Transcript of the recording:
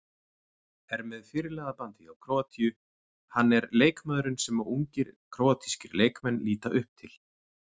Er með fyrirliðabandið hjá Króatíu, hann er leikmaðurinn sem ungir króatískir leikmenn líta upp til.